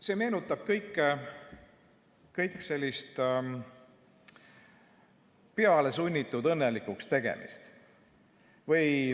See meenutab kõik sellist pealesunnitud õnnelikuks tegemist.